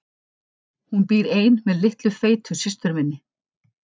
Hún býr ein með litlu feitu systur minni.